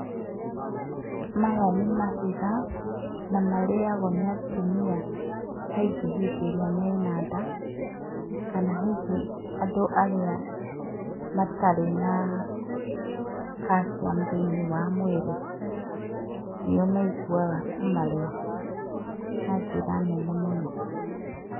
Maya nĩ mahiga na marĩagwo nĩ atumia kaingĩ hĩndĩ ĩrĩa mena nda kana hihi andũ arĩa matarĩ na kaciamu thĩiniĩ wa mwĩrĩ nĩo maiguaga kũmarĩa na njĩra nene mũno.